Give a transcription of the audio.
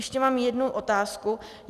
Ještě mám jednu otázku.